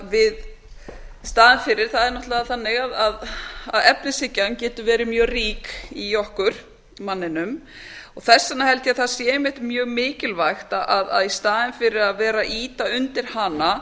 í staðinn fyrir það er náttúrlega þannig að efnishyggjan getur verið mjög rík í okkur manninum og þess vegna held ég að það sé einmitt mjög mikilvægt að í staðin fyrir að vera að ýta undir hana